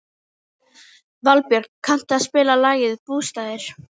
Valbjörk, kanntu að spila lagið „Bústaðir“?